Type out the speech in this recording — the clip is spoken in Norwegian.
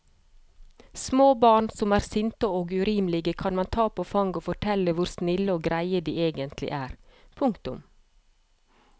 Små barn som er sinte og urimelige kan man ta på fanget og fortelle hvor snille og greie de egentlig er. punktum